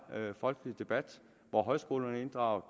folkelig debat hvor højskolerne er inddraget